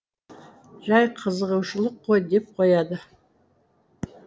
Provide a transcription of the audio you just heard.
жай қызығушылық қой деп қояды